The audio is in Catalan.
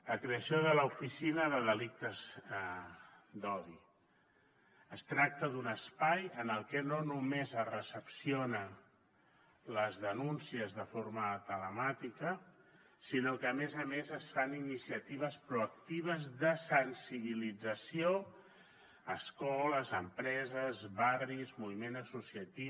la creació de l’oficina de delictes d’odi es tracta d’un espai en què no només es recepcionen les denúncies de forma telemàtica sinó que a més a més es fan iniciatives proactives de sensibilització a escoles empreses barris moviment associatiu